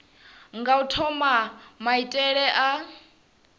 nga u thoma maitele a